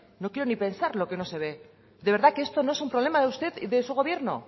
no quiero ni pensar lo que no se ve de verdad que esto no es un problema de usted y de su gobierno